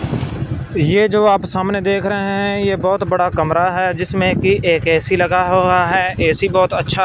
ये जो आप सामने देख रहे हैं ये बहोत बड़ा कमरा है जिसमें की एक ए_सी लगा हुआ है ए_सी बहोत अच्छा--